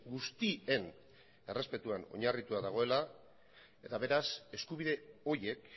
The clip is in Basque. guztien errespetuan oinarritua dagoela eta beraz eskubide horiek